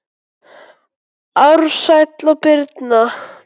Ársæll og Birna.